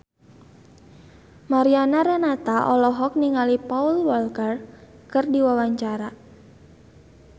Mariana Renata olohok ningali Paul Walker keur diwawancara